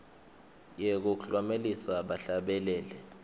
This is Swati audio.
yekuklomelisa bahlabeleli